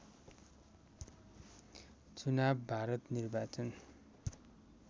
चुनाव भारत निर्वाचन